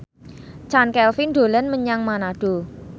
Chand Kelvin dolan menyang Manado